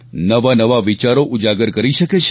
નવાનવા વિચારો ઉજાગર કરી શકે છે